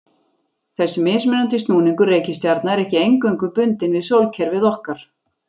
Þessi mismunandi snúningur reikistjarna er ekki eingöngu bundinn við sólkerfið okkar.